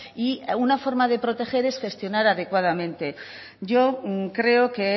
y una forma de proteger es gestionar adecuadamente yo creo que